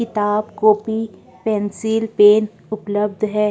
किताब copy pencil pen उपलब्ध हैं।